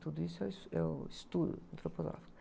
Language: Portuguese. Tudo isso é o es, é o estudo antroposófico.